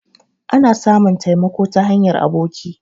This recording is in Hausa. Ana samun taimako ta hanyar aboki